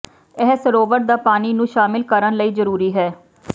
ਇਹ ਸਰੋਵਰ ਦਾ ਪਾਣੀ ਨੂੰ ਸ਼ਾਮਿਲ ਕਰਨ ਲਈ ਜ਼ਰੂਰੀ ਹੈ